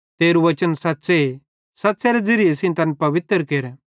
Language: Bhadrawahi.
तेरू वचन सच़्च़े सच़्च़ेरे ज़िरिये सेइं तैन पवित्र केर